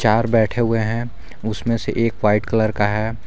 चार बैठे हुए हैं उसमें से एक वाइट कलर का है।